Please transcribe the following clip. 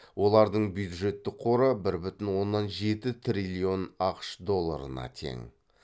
олардың бюджеттік қоры бір бүтін оннан жеті триллион ақш долларына тең